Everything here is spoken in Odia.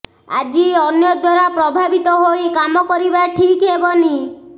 ଆଜି ଅନ୍ୟ ଦ୍ୱାରା ପ୍ରଭାବିତ ହୋଇ କାମ କରିବା ଠିକ୍ ହେବନି